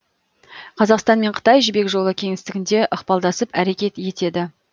қазақстан мен қытай жібек жолы кеңістігінде ықпалдасып әрекет етеді